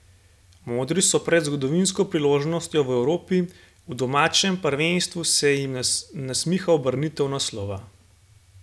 Modri so pred zgodovinsko priložnostjo v Evropi, v domačem prvenstvu se jim nasmiha ubranitev naslova.